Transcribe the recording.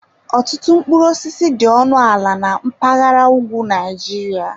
Ọtụtụ mkpụrụ osisi dị ọnụ ala na mpaghara ugwu Nigeria.